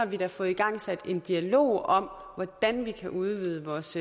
vi da fået igangsat en dialog om hvordan vi kan udvide vores